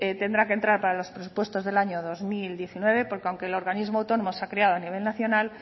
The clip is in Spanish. tendrá que entrar para los presupuestos del año dos mil diecinueve porque aunque el organismo autónomo está creado a nivel nacional